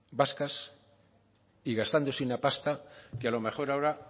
vascas y gastándose una pasta que a lo mejor ahora